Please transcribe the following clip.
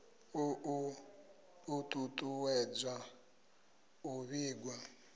u ṱu ṱuwedza u vhigwa